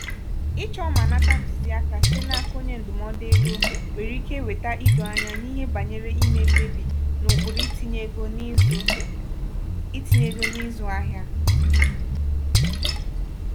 ịchọ mà nata ntuziaka site n'aka onye ndụmọdụ ego nwere ike weta idoanya n'ihe banyere ime mkpebi n'ụkpụrụ itinye ego n'izụ itinye ego n'izụ ahịa.